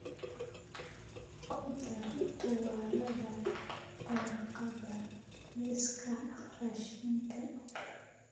ku dar tuwaalada warqadda liiska raashinka